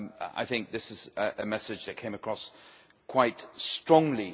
I think this is a message that came across quite strongly.